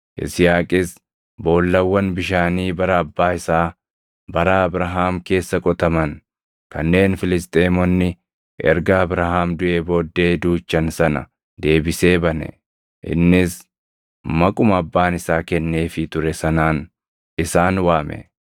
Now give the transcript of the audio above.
Yisihaaqis boollawwan bishaanii bara abbaa isaa bara Abrahaam keessa qotaman kanneen Filisxeemonni erga Abrahaam duʼee booddee duuchan sana deebisee bane; innis maquma abbaan isaa kenneefii ture sanaan isaan waame.